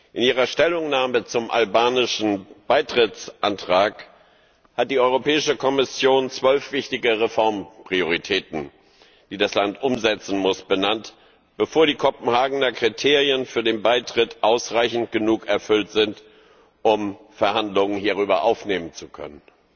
In ihrer Stellungnahme zum albanischen Beitrittsantrag hat die Europäische Kommission zwölf wichtige Reformprioritäten, die das Land umsetzen muss, benannt, bevor die Kopenhagener Kriterien für den Beitritt in ausreichendem Maß erfüllt sind, um Verhandlungen hierüber aufnehmen zu können.